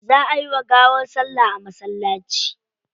Za ayi wa gawar salla a masallaci.